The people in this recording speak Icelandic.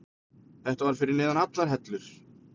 Þetta var fyrir neðan allar hellur.